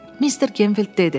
Mister Gemfild dedi.